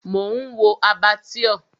Mò ń wo Abattoir.